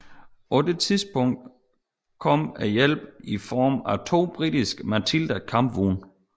På det tidspunkt kom hjælpen i form af to britiske Matilda kampvogne